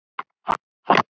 En þú getur það ekki.